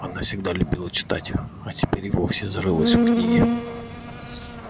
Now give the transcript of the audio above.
она всегда любила читать а теперь и вовсе зарылась в книги